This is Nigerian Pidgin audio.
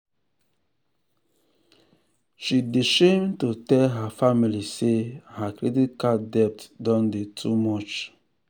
she dey shame to tell her family say her credit card debt don dey too much.